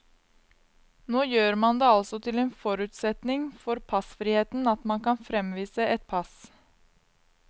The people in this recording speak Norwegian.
Nå gjør man det altså til en forutsetning for passfriheten at man kan fremvise et pass.